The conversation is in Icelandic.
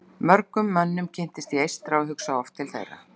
Mjög mörgum mönnum kynntist ég eystra og hugsa oft til þeirra.